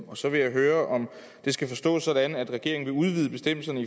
og så vil jeg høre om det skal forstås sådan at regeringen vil udvide bestemmelserne